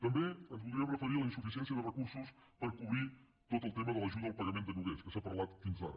també ens voldríem referir a la insuficiència de recursos per cobrir tot el tema de l’ajuda al pagament de lloguers que s’ha parlat fins ara